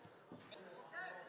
Əsas Azərbaycanlı oyunçu.